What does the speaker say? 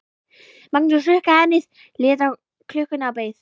Magnús hrukkaði ennið, leit á klukkuna og beið.